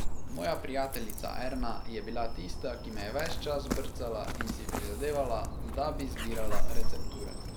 Moja prijateljica Erna je bila tista, ki me je ves čas brcala in si prizadevala, da bi zbirala recepture.